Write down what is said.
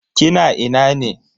Kina ina ne?